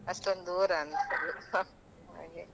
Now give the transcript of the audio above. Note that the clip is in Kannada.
ಅಷ್ಟೊಂದು ದೂರ ಅನಿಸೋಲ್ಲ ಹಾಗೆ .